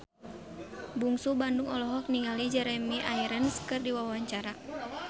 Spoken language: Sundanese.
Bungsu Bandung olohok ningali Jeremy Irons keur diwawancara